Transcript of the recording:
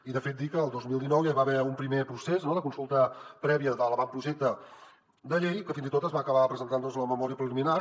i de fet dir que el dos mil dinou ja hi va haver un primer procés no de consulta prèvia de l’avantprojecte de llei que fins i tot es va acabar presentant la memòria preliminar